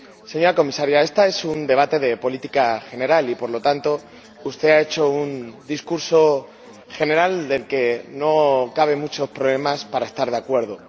Señora Comisaria, este es un debate de política general y, por lo tanto, usted ha hecho un discurso general con el cual no hay muchos problemas para estar de acuerdo.